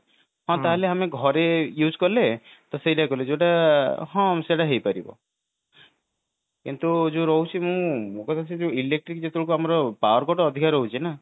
ହଁ ତାହାଲେ ଆମେ ଘରେ use କଲେ ତ ସେଇଆ କଲେ କଣ ସେଇଟା ହେଇପାରିବ କିନ୍ତୁ ଯୋଉ ରହୁଛି ମୁଁ କହିଲି electric ଯେତେବେଳେକୁ ଆମର power cut ଅଧିକ ରହୁଛି ନା